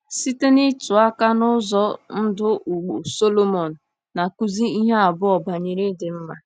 Site n’ịtụ aka n’ụzọ ndụ ugbo, Sọlomon na-akụzi ihe abụọ banyere ịdị mma.